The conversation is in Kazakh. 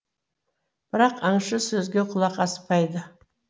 бірақ аңшы сөзге құлақ аспайды